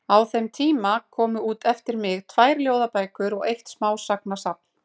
Á þeim tíma komu út eftir mig tvær ljóðabækur og eitt smásagnasafn.